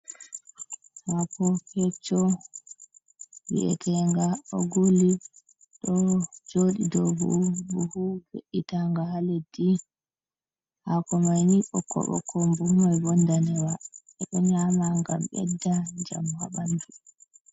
Hako kecco wi’etenga ogulli ɗo jooɗi dow bohu ve’itanga haa leddi. Hakomaini ɓokk-ɓokko buhuman ndanewa, ɓe ɗo nyama ngam ɓedda njamu haa ɓandu.